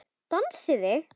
Dansið þið.